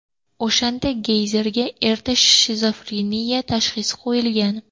O‘shanda Geyzerga erta shizofreniya tashxisi qo‘yilgan.